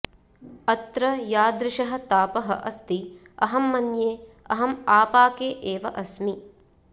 अत्र यादृशः तापः अस्ति अहं मन्ये अहम् आपाके एव अस्मि